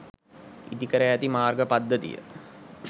ඉදිකර ඇති මාර්ග පද්ධතිය